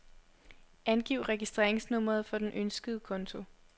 Angiv registreringsnummeret for den ønskede konto.